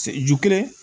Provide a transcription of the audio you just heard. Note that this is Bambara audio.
Se ju kelen